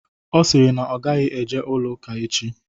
Ọ sịrị na ọ gaghị eje ụlọ ụka echi